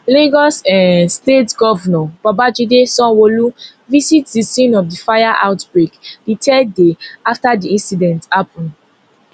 lagos um state govnor babajide sanwoolu visit di scene of di fire outbreak di third day afta di incident happun